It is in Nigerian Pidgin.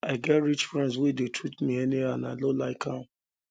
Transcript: i get rich friends wey dey treat me anyhow and i no like am